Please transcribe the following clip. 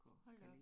Hold da op